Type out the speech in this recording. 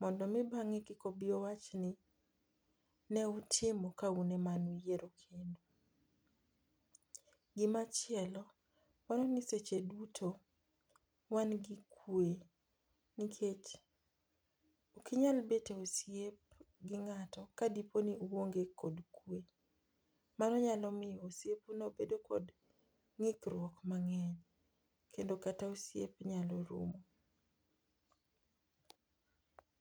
Mondo mi bang'e kik obi owach ni ne utimo ka un e mane uyiero kendu. Gima chielo dwani seche duto wan gi kwe nikech ok inyal bet e osiep gi ng'ato ka di po ni uonge kod kwe. Mano nyalo miyo osiep u no bedo kod ng'ikruok mang'eny kendo kata osiep nyalo rumo.